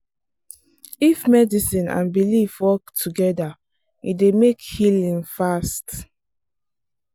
if medicine and belief work together e dey make healing fast.